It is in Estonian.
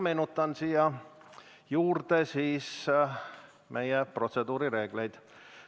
Meenutan meie protseduurireegleid.